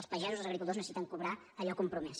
els pagesos els agricultors necessiten cobrar allò compromès